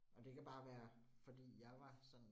Og det kan bare være fordi jeg var sådan